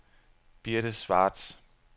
Birthe Schwartz